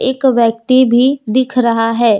एक व्यक्ति भी दिख रहा है।